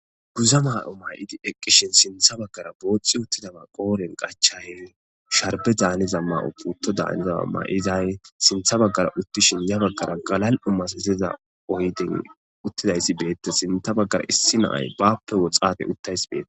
Guza ma'o may'idi eqqishin sintha baggara booxci uttidaba qooren gachahe sharbe daaniza ma'o putto daanizaa ma'izay sintha baggara uttishin ya baggara galal'u masaziza oyden uttidayssi beetta sintha baggara issi naay baappe woxate uttays beeta.